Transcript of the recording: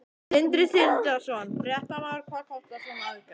Sindri Sindrason, fréttamaður: Hvað kostar svona aðgerð?